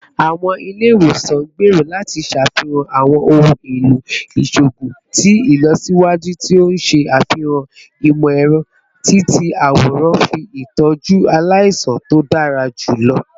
Awọn ile-iwosan n gbero lati ṣafihan awọn ohun elo iṣoogun ti ilọsiwaju ti o n ṣe afihan imọ-ẹrọ-ti-ti-aworan fun itọju alaisan to dara julọ